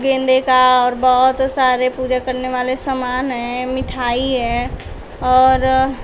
गेंदे का और बहुत सारे पूजा करने वाले सामान है मिठाई है और--